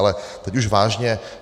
Ale teď už vážně.